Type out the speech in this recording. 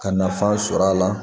Ka nafan sɔrɔ a la